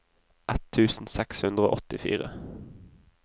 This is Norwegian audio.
ett tusen seks hundre og åttifire